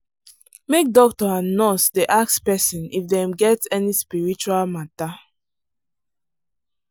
make doctor and nurse dey ask person if dem get any spiritual matter.